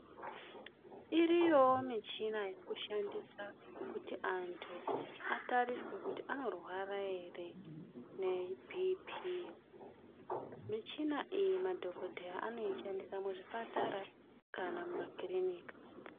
Iriyowo michina yekushandisa kuti antu atariswe kuti anorwara ere nebhipii. Michina iyi madhogodheya anoishandisa muzvipatara kana mumakirinika.